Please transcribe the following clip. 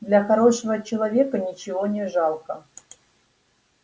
для хорошего человека ничего не жалко